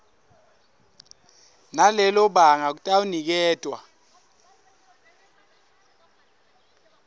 nalelo banga kutawuniketwa